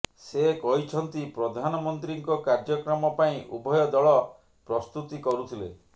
ସେ କହିଛନ୍ତି ପ୍ରଧାନମନ୍ତ୍ରୀଙ୍କ କାର୍ଯ୍ୟକ୍ରମ ପାଇଁ ଉଭୟ ଦଳ ପ୍ରସ୍ତୁତି କରୁଥିଲେ